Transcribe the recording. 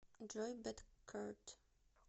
джой бэдкерт